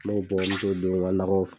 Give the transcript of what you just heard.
N' mɛ don n tɛ don nka nɔgɔw